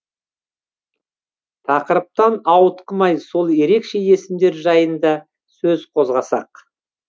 тақырыптан ауытқымай сол ерекше есімдер жайында сөз қозғасақ